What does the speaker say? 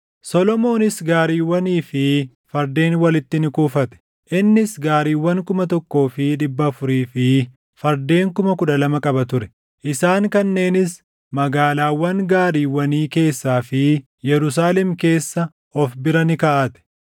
Solomoonis gaariiwwanii fi fardeen walitti ni kuufate; innis gaariiwwan kuma tokkoo fi dhibba afurii fi fardeen kuma kudha lama qaba ture; isaan kanneenis magaalaawwan gaariiwwanii keessaa fi Yerusaalem keessa of bira ni kaaʼate.